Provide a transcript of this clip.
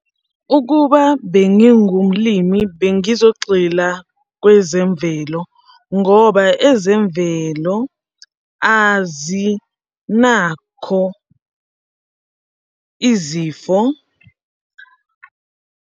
Ukuba bengingumlimi bengizogxila kwezemvelo ngoba ezemvelo azinakho izifo.